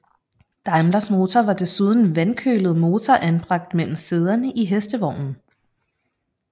Daimlers motor var desuden vandkølet motor anbragt mellem sæderne i hestevognen